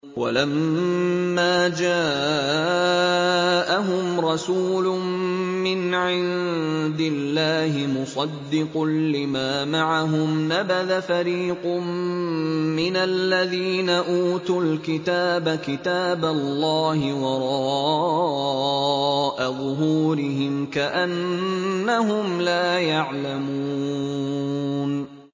وَلَمَّا جَاءَهُمْ رَسُولٌ مِّنْ عِندِ اللَّهِ مُصَدِّقٌ لِّمَا مَعَهُمْ نَبَذَ فَرِيقٌ مِّنَ الَّذِينَ أُوتُوا الْكِتَابَ كِتَابَ اللَّهِ وَرَاءَ ظُهُورِهِمْ كَأَنَّهُمْ لَا يَعْلَمُونَ